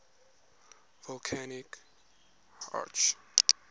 volcanic arcs